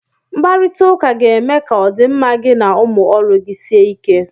Mkparita ụka ga-eme ka ọdịmma gị na ụmụ ọrụ gị sie ike.